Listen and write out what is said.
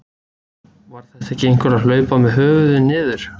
Var þetta ekki einhver að hlaupa með höfuðið niður?